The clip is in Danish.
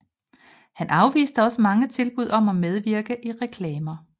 Han afviste også mange tilbud om at medvirke i reklamer